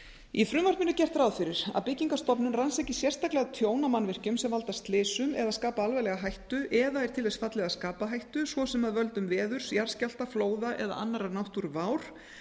í frumvarpinu er gert ráð fyrir að byggingarstofnun rannsaki sérstaklega tjón á mannvirkjum sem valda slysum eða skapa alvarlega hættu eða er til þess fallið að skapa hættu svo sem af völdum veðurs jarðskjálfta flóða eða annarrar náttúruvár